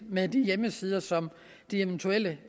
med de hjemmesider som de eventuelle